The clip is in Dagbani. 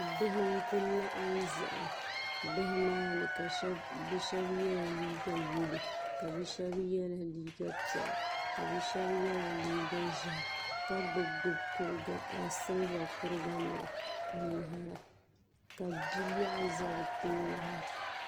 Bihi n kuli laɣim zaya bihi maa ni bɛ sheba yela liiga yelo ka bia sheba ye liiga piɛla ka bia sheba yela liiga ʒehi ka gbibi gbibi siliba kuriga nima n lihira ka biliaɣu za bɛ tooni.